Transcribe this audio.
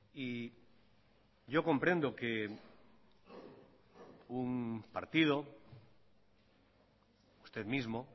y yo comprendo que un partido usted mismo